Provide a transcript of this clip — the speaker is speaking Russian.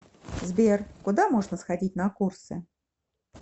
сбер куда можно сходить на курсы